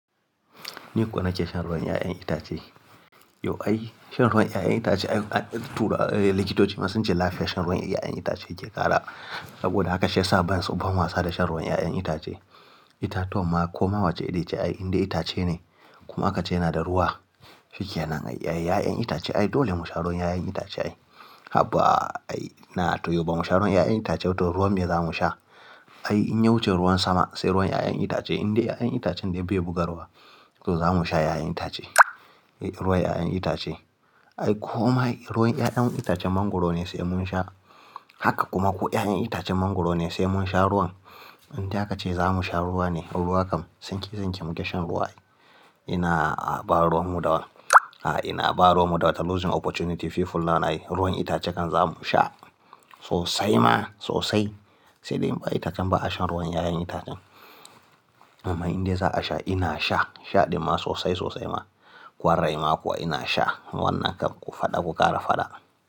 Ni kuwa na ce shan ruwan 'ya'yan itace. Yau ai shan ruwan 'ya'yan itace, likitoci ma sun ce lafiyar shan ruwan 'ya'yan itace yake ƙara. Saboda haka shi ya sa ban so ban wasa da shan ruwan 'ya'yan itace. Itatuwan kuma ko ma wace iri ce, ai indai itace ne. Kuma aka ce yana da ruwa. Shike nan ai 'ya'yan itace ai dole mu sha ruwan 'ya'yan itace ai. Haba ai na to yau ba mu sha ruwan 'ya'yan itace ba to ruwan me za mu sha? Ai in ya wuce ruwan sama, sai ruwan 'ya'yan itace. Indai 'ya'yan itacen dai bai buga ruwa, to za mu sha 'ya'yan itace. Ruwan 'ya'yan itace. Ai ko ma ruwan 'ya'yan itacen mangwaro ne sai mun sha. Haka kuma ko 'ya'yan itacen mangwaro ne sai mun sha ruwan. Indai haka ce za mu sha ruwa ne, ruwa kam sanke-sanke muke shan ruwa. Ina ba ruwan mu dawan. Ina ba ruwan mu dawa ta losing opportunity fee full na. Ai ruwan itace kan za mu sha sosai ma sosai. Sai dai itacen ba a shan ruwan 'ya'yan itacen. Amma indai za a sha ina sha. Sha ɗin ma sosai sosai ma. Kwarai ma kuwa ina sha. Wannan kan ku faɗa ku ƙara faɗa.